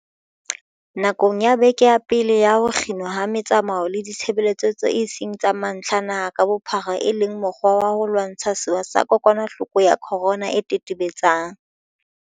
Nakong ya beke ya pele ya ho kginwa ha metsamao le ditshebeletso tseo e seng tsa mantlha naha ka bophara e le mokgwa wa ho lwantsha sewa sa kokwanahloko ya corona e tetebe-tsang